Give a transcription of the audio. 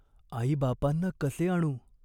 "आईबापांना कसे आणू ?